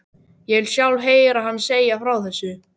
Ég vil sjálf heyra hana segja frá þessu.